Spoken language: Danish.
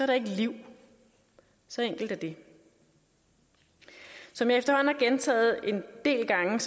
der ikke liv så enkelt er det som jeg efterhånden har gentaget en del gange